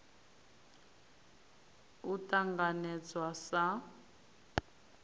r ya u ṱanganedzwa sa